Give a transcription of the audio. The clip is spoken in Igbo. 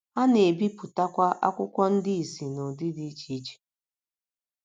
Ha na - ebipụtakwa akwụkwọ ndị ìsì n’ụdị dị iche iche.